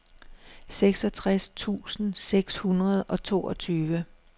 seksogtres tusind seks hundrede og toogtyve